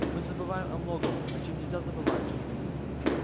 мы забываем о многом о чём нельзя забывать